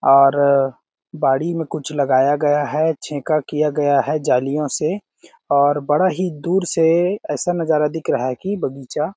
और बाड़ी में कुछ लगाया गया है छेका किया गया है जालियों से और बड़ा ही दूर से ऐसा नजारा दिख रहा है की बगीचा --